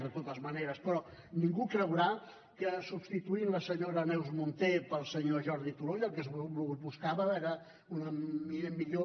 de totes maneres però ningú creurà que substituint la senyora neus munté pel senyor jordi turull el que es buscava era una millor